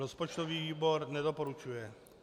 Rozpočtový výbor nedoporučuje.